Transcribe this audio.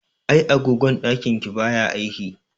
Ai agogon ɗakin ki baya aiki.